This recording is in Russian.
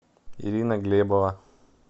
ирина глебова